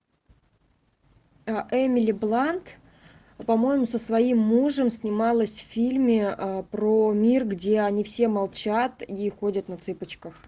эмили блант по моему со своим мужем снималась в фильме про мир где они все молчат и ходят на цыпочках